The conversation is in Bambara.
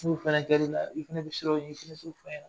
N'o fana kɛr'i la i fana bɛ siran o ɲɛ i fana t'o fɔ n ɲɛna